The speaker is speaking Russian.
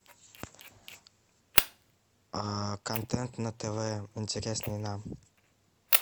контент на тв интересный нам